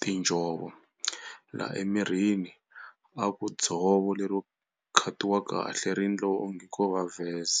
tinjhovo laha emirini a ku dzovo lero cut-iwa kahle ri ndliwa onge ko va vest.